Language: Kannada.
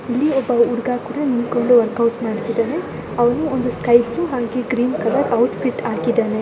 ಇಲ್ಲೂ ಸಹ ಒಬ್ಬ ಹುಡುಗ ನಿಂತುಕೊಂಡು ವರ್ಕೌಟ್ ಮಾಡ್ತಾ ಇದ್ದಾನೆ ಅವನು ಬ್ಲೂ ಕಲರ್ ಶರ್ಟು ಮತ್ತೆ ಗ್ರೀನ್ ಕಲರ್ ಪ್ಯಾಂಟ್ ಹಾಕಿದ್ದಾನೆ.